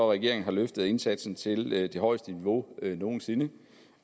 regeringen har løftet indsatsen til det højeste niveau nogen sinde